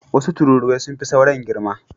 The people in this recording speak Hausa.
Wasu tururuwa sun fi sauran girma.